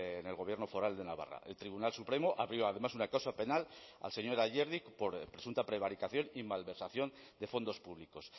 en el gobierno foral de navarra el tribunal supremo abrió además una causa penal al señor ayerdi por presunta prevaricación y malversación de fondos públicos